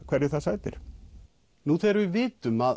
hverju það sætir nú þegar við vitum að